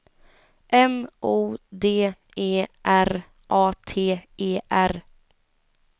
M O D E R A T E R